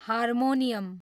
harmonium